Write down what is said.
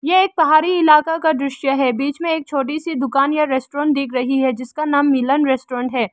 यह एक पहाड़ी इलाका का दृश्य है बीच में एक छोटी सी दुकान या रेस्टोरेंट दिख रही है जिसका नाम मिलन रेस्टोरेंट है।